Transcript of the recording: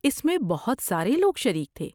اس میں بہت سارے لوگ شریک تھے۔